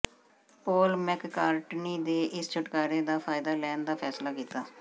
ਪੌਲ McCartney ਨੇ ਇਸ ਛੁਟਕਾਰੇ ਦਾ ਫਾਇਦਾ ਲੈਣ ਦਾ ਫੈਸਲਾ ਕੀਤਾ